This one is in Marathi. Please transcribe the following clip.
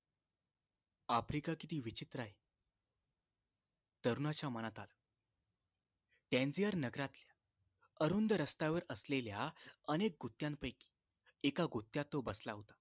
आफ्रिका किती विचित्र आहे तरुणाच्या मनातात टॅंजिएर नगरातल्या अरुंद रस्त्यावर असलेल्या अनेक गुत्त्यांपैकी एका गुत्त्यात तो बसला होता